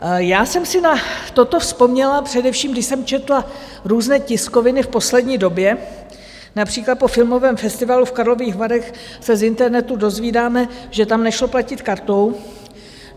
Já jsem si na toto vzpomněla především, když jsem četla různé tiskoviny v poslední době, například po filmovém festivalu v Karlových Varech se z internetu dozvídáme, že tam nešlo platit kartou.